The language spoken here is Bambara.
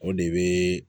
O de bɛ